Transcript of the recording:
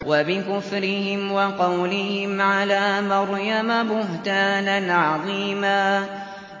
وَبِكُفْرِهِمْ وَقَوْلِهِمْ عَلَىٰ مَرْيَمَ بُهْتَانًا عَظِيمًا